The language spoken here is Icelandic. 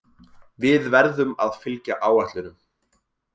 Við verðum að fylgja áætlunum